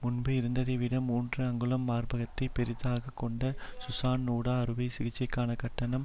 முன்பு இருந்ததைவிட மூன்று அங்குலம் மார்பகத்தை பெரிதாக்கிக் கொண்ட சுசான் நூடா அறுவை சிகிச்சைக்கான கட்டணம்